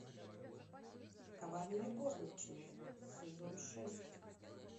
коварные горничные сезон шесть